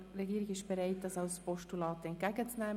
Die Regierung ist bereit, diese als Postulat entgegenzunehmen.